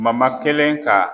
kelen ka